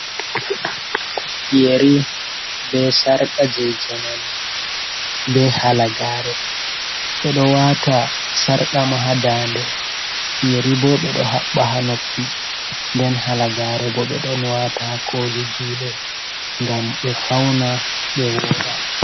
Yeri be sarka je jamanu be halagare, ɓeɗo wata sarka ma ha dande, yeri bo ɓeɗo haɓɓa ha noppi, nden hala gare bo ɓe ɗon wata ha koli juɗe ngam ɓe fauna ɓe ura.